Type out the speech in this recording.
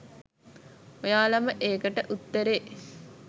ඔයාලම ඒකට උත්තරේ